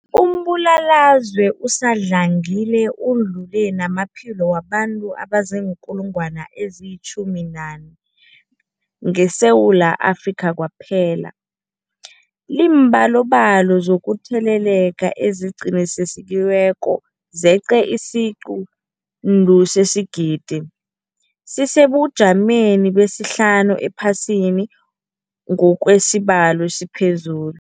Umbulalazwe usadlangile udlule namaphilo wabantu abaziinkulungwana ezi-11 ngeSewula Afrika kwaphela. Iimbalobalo zokutheleleka eziqinisekisiweko zeqe isiquntu sesigidi, sisesebujameni besihlanu ephasini ngokwesibalo esiphezulu.